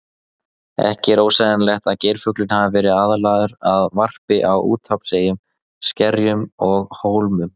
Ekki er ósennilegt að geirfuglinn hafi verið aðlagaður að varpi á úthafseyjum, skerjum og hólmum.